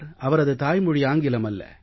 அவரது தாய்மொழி ஆங்கிலம் அல்ல